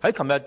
在昨天